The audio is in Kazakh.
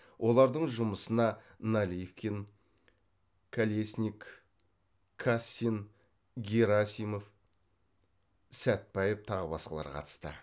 олардың жұмысына наливкин калесник кассин герасимов сәтбаев тағы басқалары қатысты